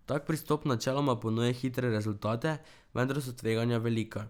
Tak pristop načeloma ponuja hitre rezultate, vendar so tveganja velika.